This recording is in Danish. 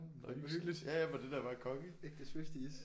Hvor hyggeligt ægte Swifties